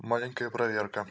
маленькая проверка